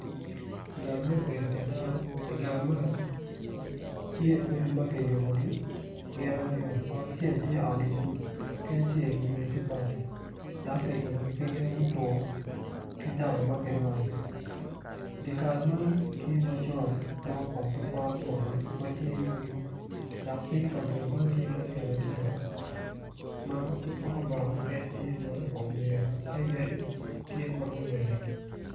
Gang me bedo pa dano i gang man tye odi ma kiyubugi gin aryo ot acel tye ot lum ki acel wiye ti bati dok kiyubugi ki yen mutwo ki daba ma ki rwado dikal man tye macol ma opong ki pot opokke ma tye yugi dok ping kabedo man tye malyet adida ma pot pokke mukene tye ma oneo ka yadi tye ma gulweo